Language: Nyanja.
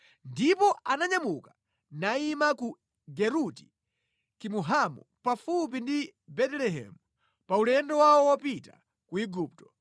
Ndipo ananyamuka nayima ku Geruti Kimuhamu pafupi ndi Betelehemu pa ulendo wawo wopita ku Igupto